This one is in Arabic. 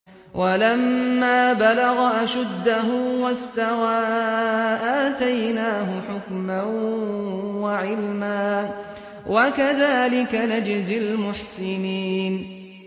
وَلَمَّا بَلَغَ أَشُدَّهُ وَاسْتَوَىٰ آتَيْنَاهُ حُكْمًا وَعِلْمًا ۚ وَكَذَٰلِكَ نَجْزِي الْمُحْسِنِينَ